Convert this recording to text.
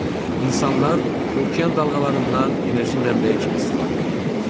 İnsanlar okean dalğalarından enerji mənbəyi kimi istifadə eləyirlər.